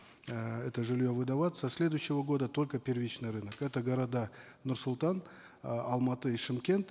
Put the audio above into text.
э это жилье выдаваться со следующего года только первичный рынок это города нур султан э алматы и шымкент